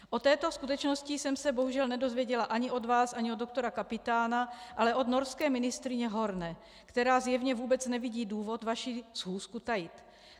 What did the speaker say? O této skutečnosti jsem se bohužel nedozvěděla ani od vás, ani od doktora Kapitána, ale od norské ministryně Horne, která zjevně vůbec nevidí důvod vaši schůzku tajit.